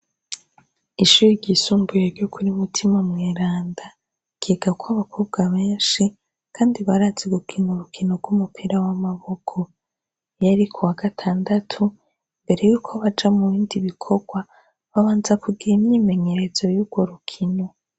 Ishure ry'isumbuye ryo kuri Mutimamweranda ryigako abakobwa benshi Kandi barazi gukina urukino rw'umupira w'amaboko. Iyo ari kuwa gatandatu, imbere yuko baja mubindi bikorwa babanza kugira imyimenyerezo yurwo rukino.